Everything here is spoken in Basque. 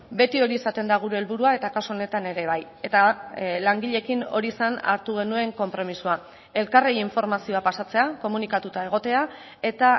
beti hori izaten da gure helburua eta kasu honetan ere bai eta langileekin hori zen hartu genuen konpromisoa elkarri informazioa pasatzea komunikatuta egotea eta